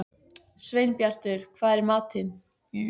Sveinbjartur, hvað er í matinn?